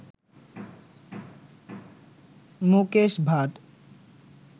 Mukesh Bhatt